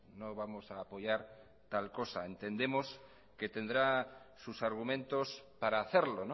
no vamos a apoyar tal cosa entendemos que tendrá sus argumentos para hacerlo